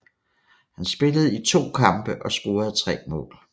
Han spillede i to kampe og scorede tre mål